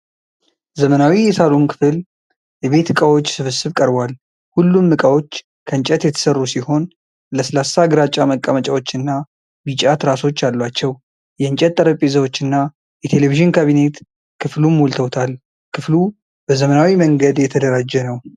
ዘመናዊ የሳሎን ክፍል የቤት ዕቃዎች ስብስብ ቀርቧል። ሁሉም ዕቃዎች ከእንጨት የተሠሩ ሲሆን ለስላሳ ግራጫ መቀመጫዎችና ቢጫ ትራሶች አሏቸው። የእንጨት ጠረጴዛዎች እና የቴሌቪዥን ካቢኔት ክፍሉን ሞልተውታል። ክፍሉ በዘመናዊ መንገድ የተደራጀ ነው።